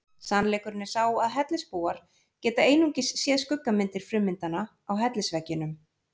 Sannleikurinn er sá að hellisbúar geta einungis séð skuggamyndir frummyndanna á hellisveggjunum.